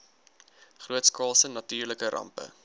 grootskaalse natuurlike rampe